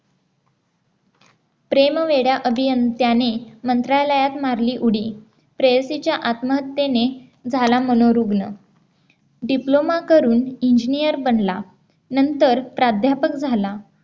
प्रेम वेड्या अभियंत्याने मंत्रालयात मारली उडी प्रेयसीच्या आत्महत्येने झाला मनोरुग्ण Diploma करून engineer बनला नंतर प्राध्यापक झाला